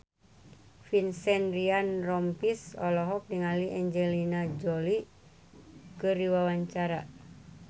Vincent Ryan Rompies olohok ningali Angelina Jolie keur diwawancara